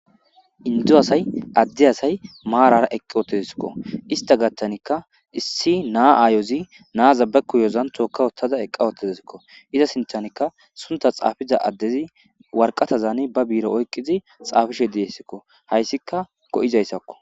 Inddo asay adde asay marrara eqi uttiskkoista gathan issi na ayozzi na bagidon toka uttadesikko izza sinthankka suntha xafizza adezi warqatane ba bire oyqizzi xafishe dizzeskko hayssikka go'zaysakko.